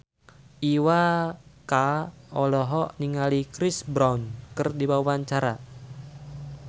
Iwa K olohok ningali Chris Brown keur diwawancara